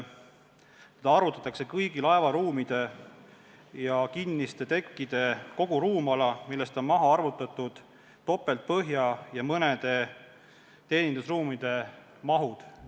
Arvutatakse kõigi laeva ruumide ja kinniste tekkide koguruumala, millest on maha arvutatud topeltpõhja ja mõnede teenindusruumide mahud.